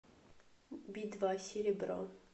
би два серебро